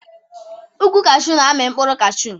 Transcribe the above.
Ụkwụ kashew n'ami mkpụrụ kashew